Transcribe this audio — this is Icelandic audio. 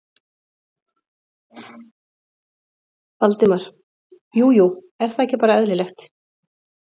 Valdimar: Jú jú, er það ekki bara eðlilegt?